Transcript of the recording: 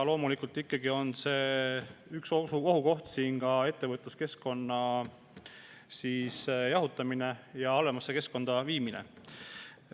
Loomulikult on üks ohukoht siin ka ettevõtluskeskkonna jahutamine ja halvemasse olukorda viimine.